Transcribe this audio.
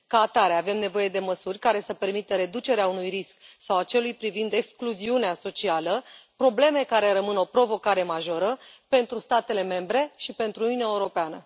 Ca atare, avem nevoie de măsuri care să permită reducerea riscurilor, precum a celui de excluziune socială, probleme care rămân o provocare majoră pentru statele membre și pentru Uniunea Europeană.